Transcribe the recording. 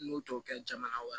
N'u t'o kɛ jamana wɛrɛ